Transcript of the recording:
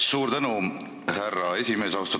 Suur tänu, härra esimees!